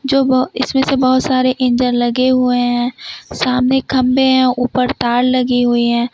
जो इसमें से बहुत सारे इंजन लगे हुए हैं सामने खंभे हैं ऊपर तार लगी हुई है।